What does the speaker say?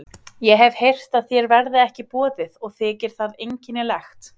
Ég hefi heyrt að þér verði ekki boðið og þykir það einkennilegt.